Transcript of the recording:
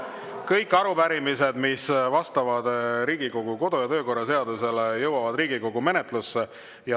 Kõik arupärimised, mis vastavad Riigikogu kodu‑ ja töökorra seadusele, jõuavad Riigikogu menetlusse.